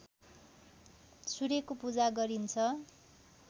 सूर्यको पूजा गरिन्छ